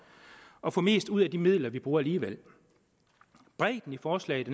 at få mest ud af de midler vi bruger alligevel bredden i forslaget